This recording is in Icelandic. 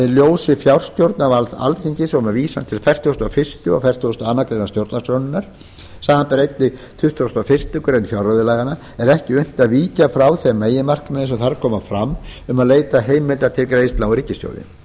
ljósi fjárstjórnarvalds alþingis og með vísan til fertugasta og fyrsta og fertugasta og aðra grein stjórnarskrárinnar samanber einnig tuttugasta og fyrstu grein fjárreiðulaganna er ekki unnt að víkja frá þeim meginmarkmiðum sem þar koma fram um að leita skuli heimilda til greiðslna úr ríkissjóði